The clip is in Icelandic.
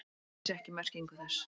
Hann vissi ekki merkingu þess.